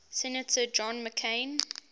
senator john mccain